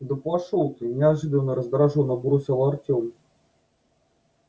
да пошёл ты неожиданно раздражённо бросил артём